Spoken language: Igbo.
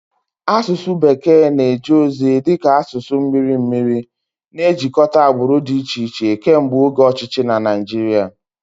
Asụsụ bekee na-eje ozi dị ka asụsụ mmiri mmiri, na-ejikọta agbụrụ dị iche iche kemgbe oge ọchịchị na Naịjirịa.